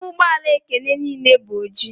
Ime ụgbọ ala Ekene niile bụ oji.